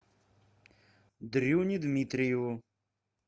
дрюне дмитриеву